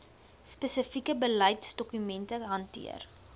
spesifieke beleidsdokumente hanteer